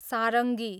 सारङ्गी